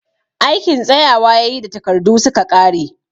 Aikin tsayawa ya yi da takardu su ka ƙare